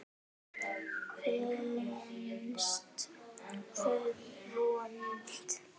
Finnst þau vond.